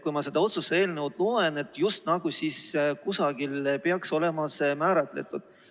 Kui ma seda otsuse eelnõu loen, siis just nagu kusagil peaks olema see määratletud.